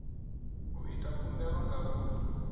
u ita khumbelo nga u